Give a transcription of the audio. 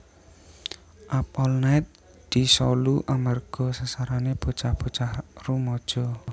Up All Night disolu amerga sasarane bocah bocah rumaja